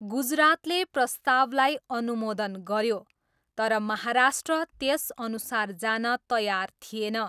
गुजरातले प्रस्तावलाई अनुमोदन गऱ्यो, तर महाराष्ट्र त्यसअनुसार जान तयार थिएन।